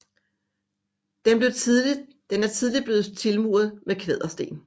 Den er tidligt blevet tilmuret med kvadersten